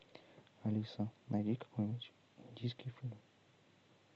алиса найди какой нибудь индийский фильм